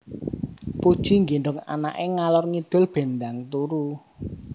Puji nggendong anak e ngalor ngidul ben ndang turu